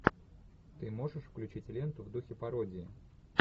ты можешь включить ленту в духе пародия